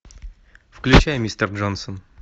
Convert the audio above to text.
включай мистер джонсон